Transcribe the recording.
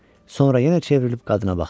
Sonra yenə çevrilib qadına baxdı.